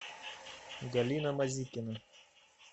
галина мазикина